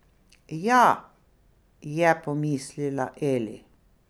Ja, je pomislila Eli.